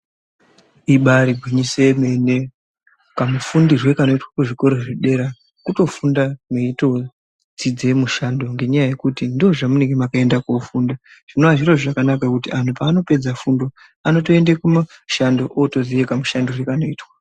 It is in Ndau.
Imbari gwinyiso yomene. Kamufundirwe kanoitwa kuzvikora zvedera, kutofunda meitodzidze mushando ngenyaa yekuti ndozvamunenge makaenda kofunda. Zvinova zviro zviro zvakanaka kuti antu paanopedza fundo, anotoende kunoshando otoziye kamushandirwe kanoitwa.